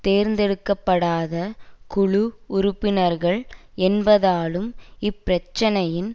தேர்ந்தெடுக்க படாத குழு உறுப்பினர்கள் என்பதாலும் இப்பிரச்சனையின்